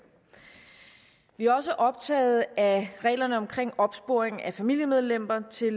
vi er også optaget af reglerne om opsporing af familiemedlemmer til